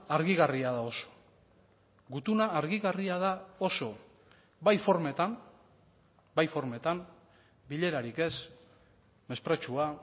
argigarria da oso gutuna argigarria da oso bai formetan bai formetan bilerarik ez mespretxua